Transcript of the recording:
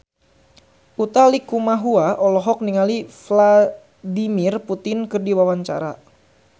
Utha Likumahua olohok ningali Vladimir Putin keur diwawancara